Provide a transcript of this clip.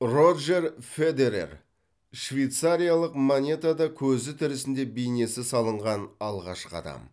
роджер федерер швейцариялық монетада көзі тірісінде бейнесі салынған алғашқы адам